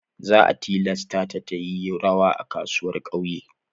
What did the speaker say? Za a tilasta ta ta yi rawa a kasuwar ƙauye.